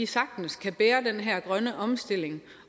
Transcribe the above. sagtens kan bære den her grønne omstilling